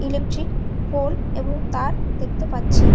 Electric pole এবং তার দেখতে পারছি।